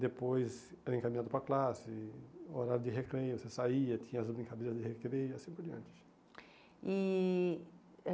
Depois era encaminhado para classe, horário de recreio, você saía, tinha as brincadeiras de recreio e assim por diante. E